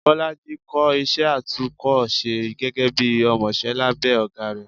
bolàjí kò ísẹ àtúko-sẹ́ gege bi ọmọsẹ labe ogá ré